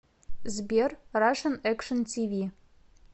сбер рашен экшн ти ви